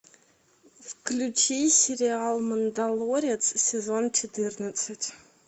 включи сериал мандалорец сезон четырнадцать